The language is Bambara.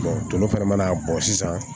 nɔnɔ fɛnɛ mana bɔ sisan